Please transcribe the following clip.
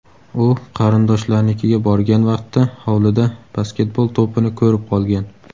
U qarindoshlarinikiga borgan vaqtda hovlida basketbol to‘pini ko‘rib qolgan.